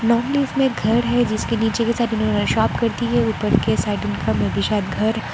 नौनिस में घर है जिसके नीचे के साथ इन्होंने शॉप करति है ऊपर के साइड उनका में बि शायद घर --